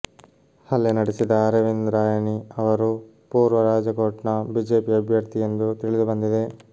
ಹಲ್ಲೆ ನಡೆಸಿದ ಅರವಿಂದ್ ರಾಯನಿ ಅವರು ಪೂರ್ವ ರಾಜಕೋಟ್ನ ಬಿಜೆಪಿ ಅಭ್ಯರ್ಥಿ ಎಂದು ತಿಳಿದು ಬಂದಿದೆ